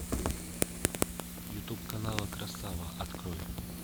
ютуб канал красава открой